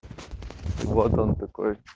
вот он такой